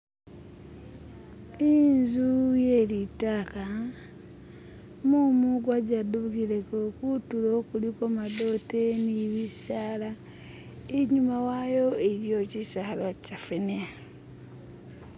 Inzu ye litaka, mumu gwa jedukhileko, khutulo khulikho madote ni bisaala, inyuma wayo iliyo chisala chefene.